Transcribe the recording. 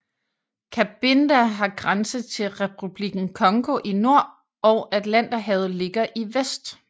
Cabinda har grænse til Republikken Congo i nord og Atlanterhavet ligger i vest